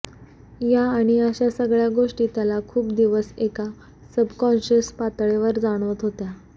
या आणि अशा सगळ्या गोष्टी त्याला खूप दिवस एका सबकॉंशस पातळीवर जाणवत होत्या